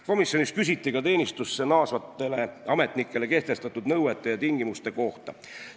Komisjonis küsiti ka teenistusse naasvatele ametnikele kehtestatud nõuete ja tingimuste kohta.